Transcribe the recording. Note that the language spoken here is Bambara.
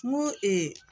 N ko